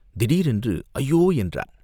திடீரென்று "ஐயோ!" என்றான்.